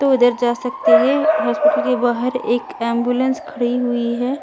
तो इधर जा सकते है हॉस्पिटल के बाहर एक एंबुलेंस खड़ी हुई है।